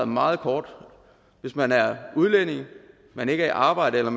meget kort hvis man er udlænding og man ikke er i arbejde eller